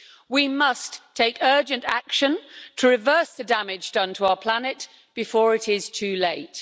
We must take urgent action to reverse the damage done to our planet before it is too late.